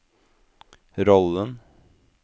rollen